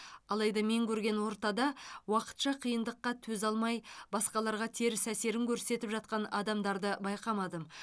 алайда мен көрген ортада уақытша қиындыққа төзе алмай басқаларға теріс әсерін көрсетіп жатқан адамдарды байқамадым